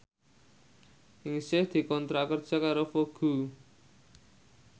Ningsih dikontrak kerja karo Vogue